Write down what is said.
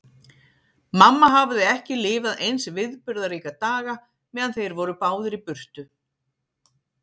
Mamma hafði ekki lifað eins viðburðaríka daga meðan þeir voru báðir í burtu.